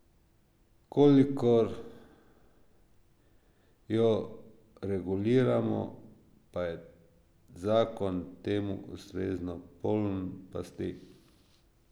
Kolikor jo reguliramo, pa je zakon temu ustrezno poln pasti.